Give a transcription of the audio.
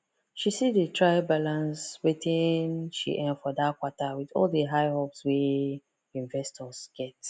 she still dey try balance wetin she earn for that quarter with all the high hopes wey investors get